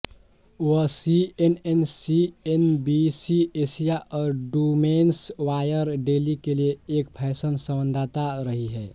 वह CNN CNBC Asia और women's wear daily के लिए एक फैशन संवाददाता रही हैं